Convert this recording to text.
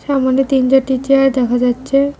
সামোনে তিন চারটি চেয়ার দেখা যাচ্ছে।